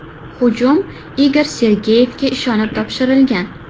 Hujum Igor Sergeyevga ishonib topshirilgan.